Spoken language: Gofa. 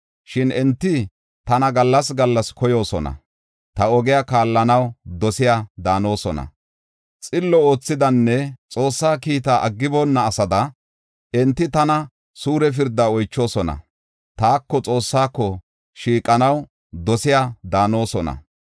Shin enti tana gallas gallas koyoosona; ta ogiya kaallanaw dosiya daanosona. Xillo oothidanne Xoossaa kiitaa aggiboonna asada enti tana suure pirda oychoosona; taako Xoossaako shiiqanaw dosiya daanosona.